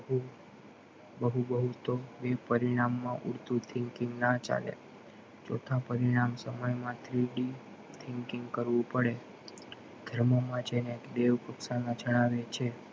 બહુ બહુ તો પરિણામ માં ઉડતું thinking ના ચાલે ચોથા પરિણામ સમય માં thinking thinking કરવું પડે બ્રહ્મોમાં જેને ટેવ જણાવે છે